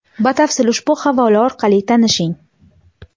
Batafsil ushbu havola orqali tanishing.